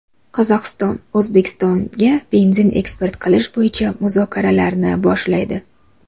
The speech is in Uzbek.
Qozog‘iston O‘zbekistonga benzin eksport qilish bo‘yicha muzokaralarni boshlaydi.